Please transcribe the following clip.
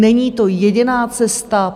Není to jediná cesta.